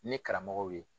Ne karamɔgɔw ye